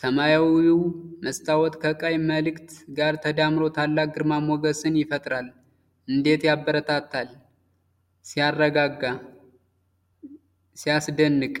ሰማያዊው መስታወት ከቀይ ምልክት ጋር ተዳምሮ ታላቅ ግርማ ሞገስን ይፈጥራል። እንዴት ያበረታታል! ሲያረጋጋ! ሲያስደንቅ!